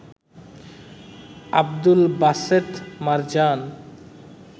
Abdul Baset Marjan